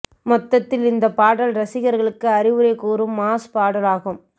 மொத்தத்தில் இந்த பாடல் ரசிகர்களுக்கு அறிவுரை கூறும் மாஸ் பாடல் ஆகும்